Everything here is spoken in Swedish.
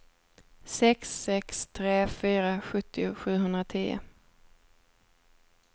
sex sex tre fyra sjuttio sjuhundratio